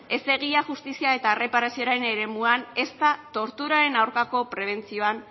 ez da egia justizia eta erreparazioaren eremuan ezta torturaren aurkako prebentzioan